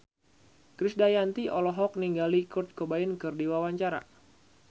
Krisdayanti olohok ningali Kurt Cobain keur diwawancara